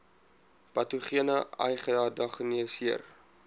patogene ai gediagnoseer